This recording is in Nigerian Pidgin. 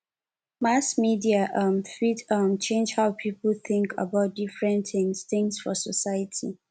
mass media um fit um change how people think about different things things for society